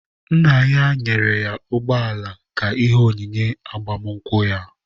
Nna ya nyere ya ụgbọala ka ihe onyinye agbamakwụkwọ ya.